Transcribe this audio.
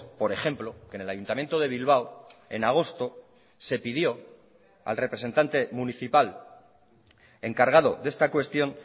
por ejemplo que en el ayuntamiento de bilbao en agosto se pidió al representante municipal encargado de esta cuestión